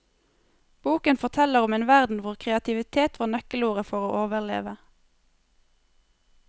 Boken forteller om en verden hvor kreativitet var nøkkelordet for å overleve.